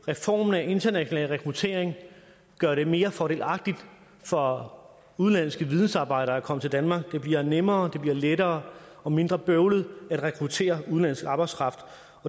reformen af international rekruttering gør det mere fordelagtigt for udenlandske vidensarbejdere at komme til danmark det bliver nemmere det bliver lettere og mindre bøvlet at rekruttere udenlandsk arbejdskraft